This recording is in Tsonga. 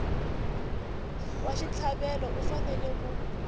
wa xitlhavelo u fanele ku